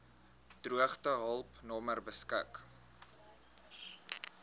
droogtehulp nommer beskik